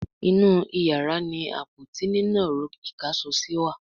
inú iyàrá ní Àpótí nínàró ìkáṣọsí wá.